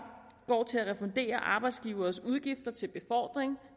går til at refundere arbejdsgiverens udgifter til befordring